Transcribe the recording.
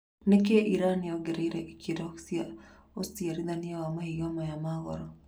Nĩkĩĩ Iran yongereire ikĩro cia ũciarithania wa mahiga maya ma goro?